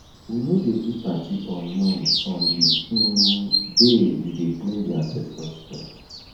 we no dey do party or noise on di um day we dey clean di ancestor stone